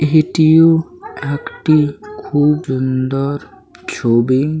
এটিও একটি খুব উন্দর ছবি-ই--